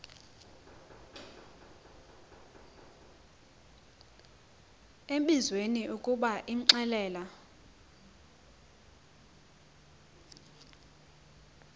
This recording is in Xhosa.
embizweni ukuba imxelele